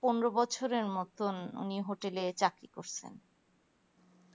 পনেরো বছরের মতন উনি hotel এ চাকরি করছেন